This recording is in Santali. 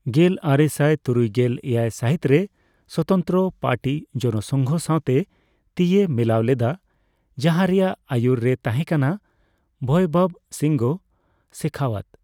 ᱜᱮᱞᱟᱨᱮᱥᱟᱭ ᱛᱩᱨᱩᱭᱜᱮᱞ ᱮᱭᱟᱭ ᱥᱟᱹᱦᱤᱛᱨᱮ ᱥᱚᱛᱚᱱᱛᱨᱚ ᱯᱟᱨᱴᱤ ᱡᱚᱱᱚ ᱥᱚᱸᱜᱷᱚ ᱥᱟᱣᱛᱮ ᱛᱤᱭ ᱢᱤᱞᱟᱹᱣ ᱞᱮᱫᱟ ᱡᱟᱦᱟᱸ ᱨᱮᱭᱟᱜ ᱟᱹᱭᱩᱨ ᱨᱮᱭ ᱛᱟᱦᱮᱸᱠᱟᱱᱟ ᱵᱷᱳᱭᱵᱚᱵᱽ ᱥᱤᱝᱦᱚ ᱥᱮᱠᱷᱟᱣᱟᱛ ᱾